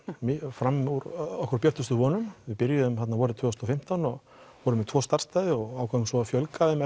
fram úr okkar björtustu vonum við byrjuðum þarna vorið tvö þúsund og fimmtán og vorum með tvo ákváðum svo að fjölga þeim